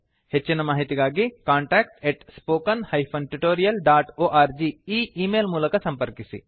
ಹೆಚ್ಚಿನ ಮಾಹಿತಿಗಾಗಿ contactspoken tutorialorg ಈ ಈ ಮೇಲ್ ಮೂಲಕ ಸಂಪರ್ಕಿಸಿ